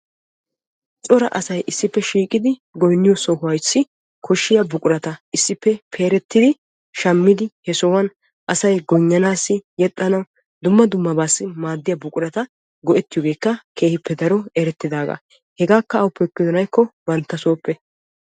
Cora asay issippe shiiqiddi goynniyo sohuwan buquratta issippe peeretti shammiddi yexxanawu dumma dummabawu maaddiya buquratta banttassoppe ekkosonna.